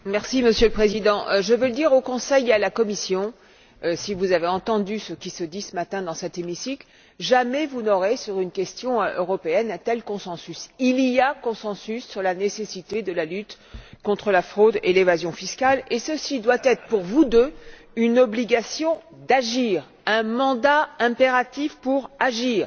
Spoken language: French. Monsieur le Président, je tiens à dire ceci au Conseil et à la Commission si vous avez entendu ce qui se dit ce matin dans cet hémicycle, vous devez savoir que jamais vous n'aurez, sur une question européenne, un tel consensus. Il y a consensus sur la nécessité de la lutte contre la fraude et l'évasion fiscales, et ceci implique pour vous deux une obligation d'agir, un mandat interactif pour agir.